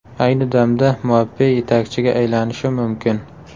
Ayni damda Mbappe yetakchiga aylanishi mumkin.